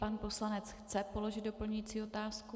Pan poslanec chce položit doplňující otázku.